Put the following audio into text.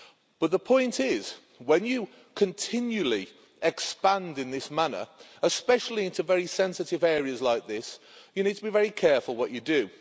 But the point is, when you continually expand in this manner, especially into very sensitive areas like this, you need to be very careful what you do.